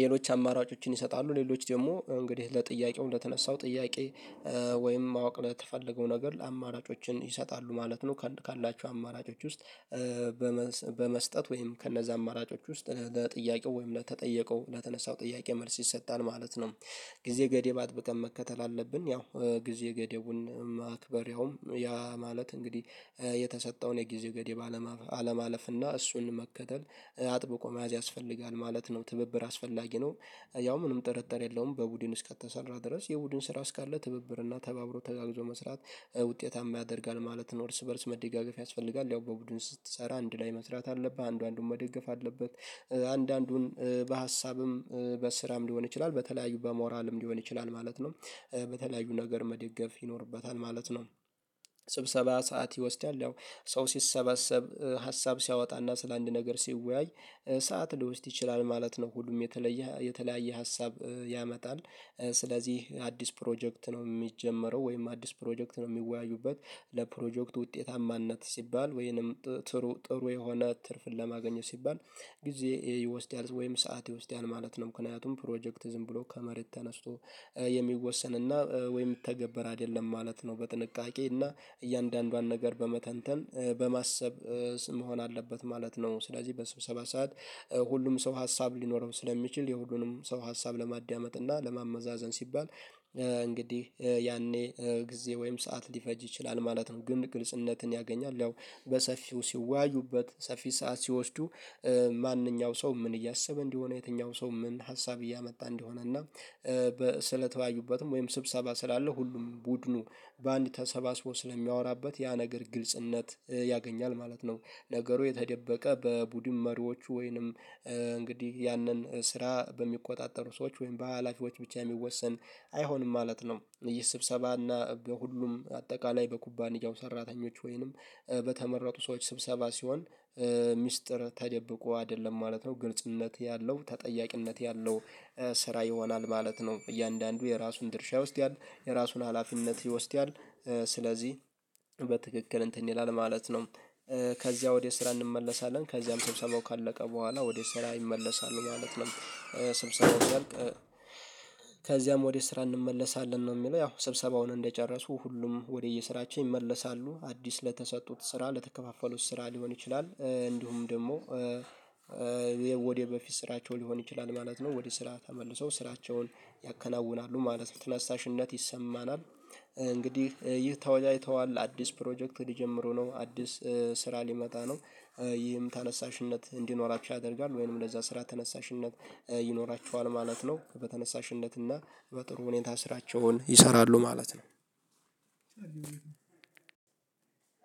ሌሎች አማራጮችን ይሰጣሉ ሌሎች ደግሞ እንግዲህ ለጥያቄው ለተነሳው ጥያቄ ወይም ማወቅ ለተፈለገው ነገር ለአማራጮችን ይሰጣሉ ማለት ነው ካላችው አማራጮች ውስጥ በመስጠት ወይም ከነዛ አማራጮች ውስጥ ለጥያቄው ወይም ለተጠየቀው ለተነሳው ጥያቄ መልስ ይሰጣል ማለት ነው። ጊዜ ገደብ አጥብቀን መከተል አለብን ያው ጊዜ ገደቡን ማክበር ያውም ያ ማለት እንግዲህ የተሰጠውን የጊዜ ገደብ አለማለፍ እና እሱን መከተል አጥብቆ መያዝ ያስፈልጋል ማለት ነው። ትብብር አስፈላጊ ነው ያው ምንም ጥርጥር የለውም በቡድን እስከተሰራ ድረስ የቡድን ስራ እስካለ ትብብር እና ተባብሮ ተጋግዞ መስራት ውጤታማ ያደርጋል ማለት ነው። እርስ በእርስ መደጋገፍ ያስፈልጋል ያው በቡድን ስትሰራ አንድ ላይ መስራት አለብህ አንዱ አንዱን መደገፍ አለበት አንድ አንዱን በሀሳብም በስራም ሊሆን ይችላል በተለያዩ በሞራልም ሊሆን ይችላል ማለት ነው። በተለያዩ ነገር መደገፍ ይኖርበታል ማለት ነው። ስብሰባ ሰዓት ይወስዳል ያው ሰው ሲሰበሰብ ሀሳብ ሲያወጣና ስለአንድ ነገር ሲወያይ ሰዓት ሊወስድ ይችላል ማለት ነው። ሁሉም የተለየ የተለያየ ሀሳብ ያመጣል ስለዚህ አዲስ ፕሮጀክት ነው ሚጀመረው ወይም አዲስ ፕሮጀክት ነው የሚወያዩበት። ለፕሮጀክት ውጤታማነት ሲባል ወይንም ጥሩ የሆነ ትርፍን ለማግኘት ሲባል ጊዜ ይወስዳል ወይም ሰዓት ውስጥ ያለ ማለት ነው ምክንያቱም ፕሮጀክት ዝም ብሎ ከመሬት ተነስቶ የሚወሰን እና ወይ የሚተገበር አይደለም ማለት ነው። በጥንቃቄና እያንዳንዷን ነገር በመተንተን በማሰብ ስም መሆን አለበት ማለት ነው። ስለዚህ በስብሰባ ሰዓት ሁሉም ሰው ሀሳብ ሊኖረው ስለሚችል የሁሉንም ሰው ሀሳብ ለማዳመጥ እና ለማመዛዘን ሲባል እንግዲህ ያኔ ጊዜ ወይም ሰዓት ሊፈጅ ይችላል ማለት ነው። ግን ግልጽነትን ያገኛል ያው በሰፊው ሲወያዩበት ሰፊ ሰዓት ሲወስዱ ማንኛው ሰው ምን እያሰበ እንደሆነ የትኛው ሰው ምን ሀሳብ እያመጣ እንደሆነ እና ስለተወያዩበትም ወይም ስብሰባ ስላለው ሁሉም ቡድኑ በአንድ ተሰባስቦ ስለሚያወራበት ያ ነገር ግልጽነት ያገኛል ማለት ነው። ነገሩ የተደበቀ በቡድን መሪዎቹ ወይንም እንግዲህ ያንን ስራ በሚቆጣጠሩ ሰዎች ወይም በሃላፊዎች ብቻ የሚወሰን አይሆንም ማለት ነው። ይህ ስብሰባና በሁሉም አጠቃላይ በኩባንያው ሰራተኞች ወይንም በተመረጡ ሰዎች ስብሰባ ሲሆን ሚስጥር ተደብቆ አይደለም ማለት ነው። ግልጽነት ያለው ተጠያቂነት ያለው ስራ ይሆናል ማለት ነው። እያንዳንዱ የራሱን ድርሻ ይወስዳል የራሱን ሀላፊነት ይወስዳል። ስለዚህ በትክክል እንትን ይላል ማለት ነው ከዚያ ወደ ስራ እንመለሳለን ከዚያም ስብሰባው ካለቀ በኋላ ወደ ስራ ይመለሳሉ ማለት ነው። ስብሰባው እንዳልቅ ከዚያም ወደ ስራ እንመለሳለን ነው የሚለው ያው ስብሰባውን እንደጨረሱ ሁሉም ወደየስራቸው ይመለሳሉ አዲስ ለተሰጡት ስራ ለተከፋፈሉት ስራ ሊሆን ይችላል እንዲሁም ደግሞ በፊት ስራቸው ሊሆን ይችላል ማለት ነው። ወደ ስራ ተመልሰው ስራቸውን ያከናውናሉ ማለት ነው። ትነሳሽነት ይሰማናል እንግዲህ ይህ ተወዳጅተዋል አዲስ ፕሮጀክት ሊጀምሩ ነው አዲስ ስራ ሊመጣ ነው። ይህም ተነሳሽነት እንዲኖራቸው ያደርጋል ወይንም ለዛ ስራ ተነሳሽነት ይኖራቸዋል ማለት ነው። በተነሳሽነት እና በጥሩ ሁኔታ ስራቸውን ይሰራሉ ማለት ነው።